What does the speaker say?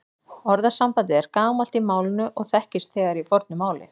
Orðasambandið er gamalt í málinu og þekkist þegar í fornu máli.